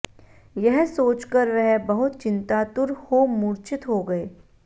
यह सोचकर वह बहुत चिंतातुर हो मूर्छित हो गए